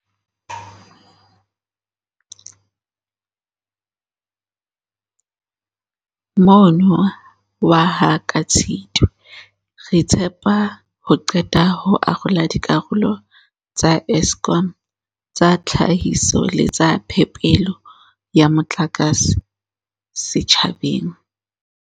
Mono waha ka Tshitwe, re tshepa ho qeta ho arola dikarolo tsa Eskom tsa tlhahiso le tsa phepelo ya motlakase setjhabeng.